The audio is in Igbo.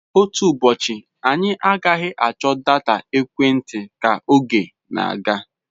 Otu ụbọchị, anyị agaghị achọ data ekwentị ka oge na-aga.